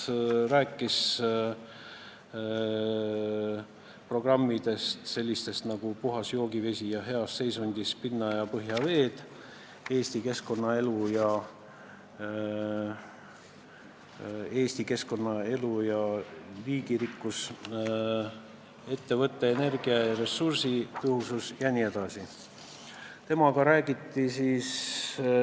Ta rääkis oma valdkonna programmidest, mille teemad on sellised nagu puhas joogivesi ja heas seisundis pinna- ja põhjaveed, Eesti elukeskkond ja selle liigirikkus, ettevõtete energia- ja ressursitõhusus jms.